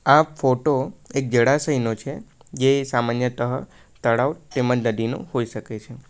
આ ફોટો એક જરાશ નો છે જે સામાન્યતા તળાવ તેમજ નદીનું હોઈ શકે છે.